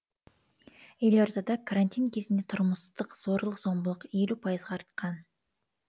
елордада карантин кезінде тұрмыстық зорлық зомбылық елу пайызға артқан